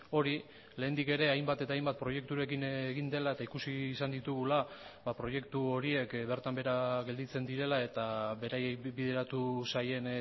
hori lehendik ere hainbat eta hainbat proiekturekin egin dela eta ikusi izan ditugula proiektu horiek bertan behera gelditzen direla eta beraiei bideratu zaien